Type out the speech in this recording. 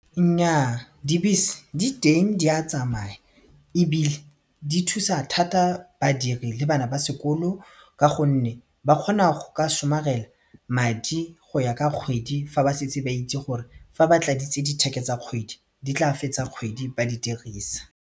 Nnyaa dibese di teng di a tsamaya ebile di thusa thata badiri le bana ba sekolo ka gonne ba kgona go ka somarela madi go ya ka kgwedi fa ba setse ba itse gore fa ba tladitse ditheke tsa kgwedi di tla fetsa kgwedi ba di dirisa.